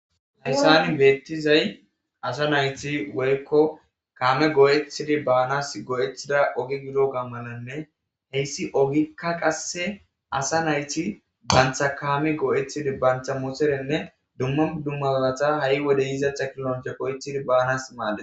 hayssani beettizay asa nayti woykko kaame go7etidi baanas go7ethida ogi gido gammalanne heyssi ogikka qasse asa nayti bantha kaami go7ethidi bancha muserenne dumma dummabalata ha7i wode yiza tchakilonche oythidi baanas maade